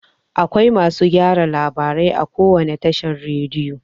Akwai masu gyara labarai a kowane tashar rediyo.